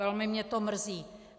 Velmi mě to mrzí.